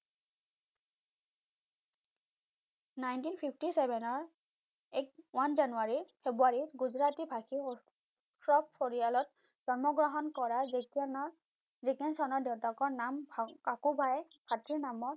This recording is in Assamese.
nineteen fifty seven ৰ এক ওৱান জানুৱাৰী ফেব্ৰুৱাৰীৰ গুজৰাটী ভাষিৰ শ্বফ পৰিয়ালত জন্ম গ্ৰহণ কৰা জেকি শ্বফৰ দেউতাকৰ নাম কাকুবাই নামৰ